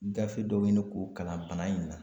Gafe dɔ ɲini k'o kalan bana in na.